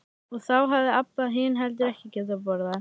Og þá hafði Abba hin heldur ekki getað borðað.